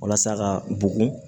Walasa ka bugun